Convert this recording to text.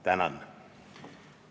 Tänan!